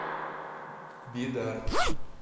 бидар